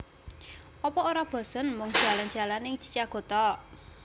Opo ora bosen mung jalan jalan ning Chichago tok?